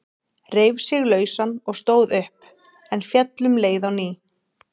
Reif sig lausan og stóð upp, en féll um leið á ný.